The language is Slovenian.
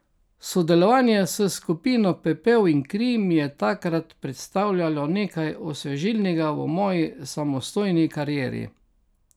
Sodelovanje s skupino Pepel in kri mi je takrat predstavljajo nekaj osvežilnega v moji samostojni karieri.